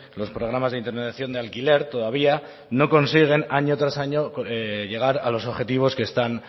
los programas de intermediación de alquiler todavía no consiguen año tras año llegar a los objetivos que están